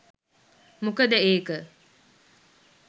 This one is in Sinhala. මොකද ඒක